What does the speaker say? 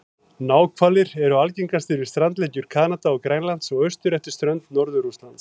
Náhvalir eru algengastir við strandlengjur Kanada og Grænlands og austur eftir strönd Norður-Rússlands.